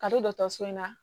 Ka don dɔgɔtɔrɔso in na